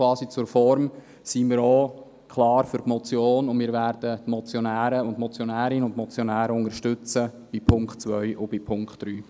In diesem Sinne sind wir auch klar für die Motion, und wir unterstützen die Motionärin und die Motionäre bei Punkt 2 und Punkt 3.